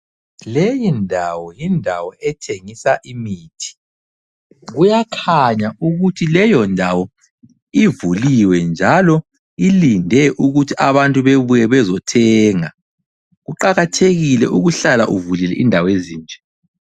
Leyindawo yindawo ethengisa imithi. Kuyakhanya ukuthi leyondawo ivuliwe njalo ilinde ukuthi abantu bebuye bezothenga. Kuqakathekile ukuhlala uvulile indawo ezinje.